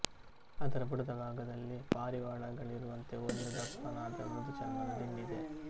ಅದರ ಬುಡದ ಭಾಗದಲ್ಲಿ ಪಾರಿವಾಳಗಳಿಗಿರುವಂತೆ ಒಂದು ದಪ್ಪನಾದ ಮೃದು ಚರ್ಮದ ದಿಂಡಿದೆ